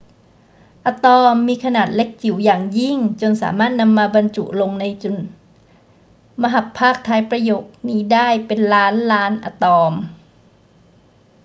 อะตอมมีขนาดเล็กจิ๋วอย่างยิ่งจนสามารถนำมาบรรจุลงในจุดมหัพภาคท้ายประโยคนี้ได้เป็นล้านล้านอะตอม